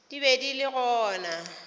di be di le gona